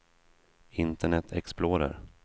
internet explorer